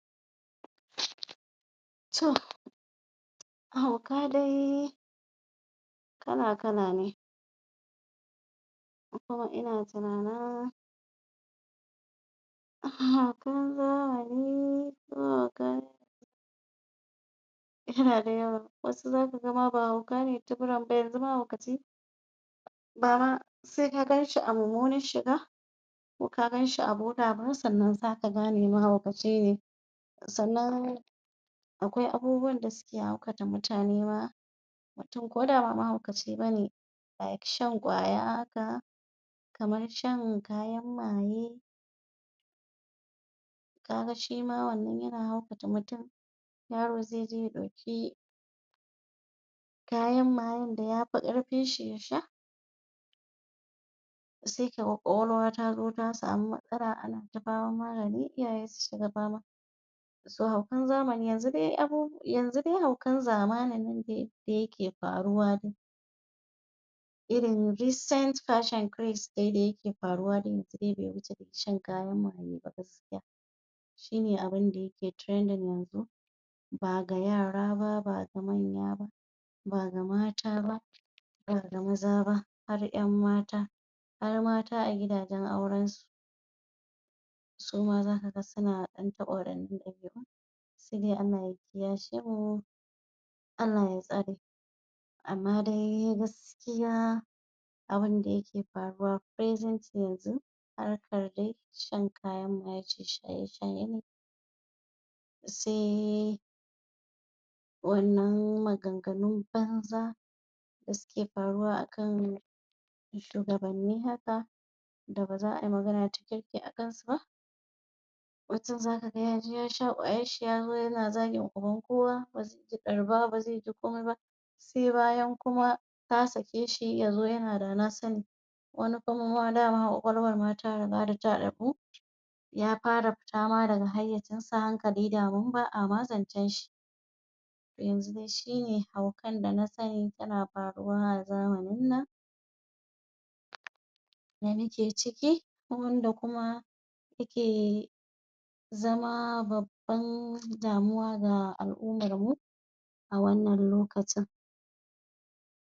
to hauka dai kala kala ne ko kuma ina tunanin haukan zahiri ko haukan yana da yawa wani ma zaka ga ba hauka ne tibiran ba yanzu mahaukaci bama se ka ganshi a mummunar shiga ko ka ganshi a bola ba sannan zaka gane mahaukaci ne sannan aƙwai abubuwan da suke haukata mutane ma mutum koda bama mahaukaci bane like shan ƙwaya haka kamar shan kayan maye kaga shima wannan yana haukata mutum yaro zeje ya ɗauki kayan mayen da yafi ƙarfin shi yasha se kaga ƙwaƙwalwa tazo ta samu matsala ana ta faman magani iyaye su shiga fama so haukan zamani yanzu dai yanzu dai haukan zamanin nan de da yake faruwa dai irin descent passion crest dai da yake faruwa da mutum be wuce dai shan kayan maye ba gaskiya shine abun da yake trending yanzu baga yara ba baga manya ba baga mata ba baga maza ba har ƴan mata har mata a gidajan auren su suma zaka ga suna ɗan taɓa wa se dai Allah ya kiya shemu Allah ya tsare amma dai gaskiya abun da yake faruwa presently yanzu harkar de shan kayan maye ce shaye shaye ne se wannan maganganun banza da suke faruwa akan shugabanni haka da baza ai magana cikakke akan su ba mutum zakaga yaje yashe ƙwayar shi yazo yana zagi a gaban kowa baze ji ɗar ba baze ji komai ba se bayan kuma ta sake shi yazo yana dana sani wani kuma ma dama ƙwaƙwalwar ta riga da ta taɓu ya fara fita ma daga hayyacin sa hankali daman ba'a ma zancan shi yanzun shine haukan dana sani yana faruwa a zamanin nan da muke ciki wanda kuma muke zama babban damuwa ga al'umar mu a wannan lokacin